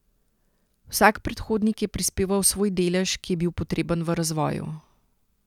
Vsak predhodnik je prispeval svoj delež, ki je bil potreben v razvoju.